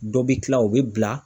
Dɔ bɛ kila o bɛ bila.